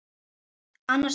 Annars vegar